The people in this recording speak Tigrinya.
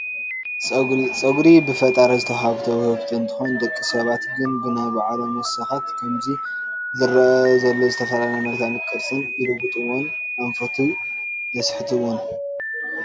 ፀጉሪ፡- ፀጉሪ ብፈጣሪ ዝተዋሃበ ውህብቶ እንትኸውን ደቂ ሰባት ግን ብናይ ባዕሎም ወሰኻት ብኸምዚ ዝረአ ዘሎ ዝተፈላለየ መልክዕ ቅርፅን ይልውጥዎን ኣንፈቱ የስሕትዎን፡፡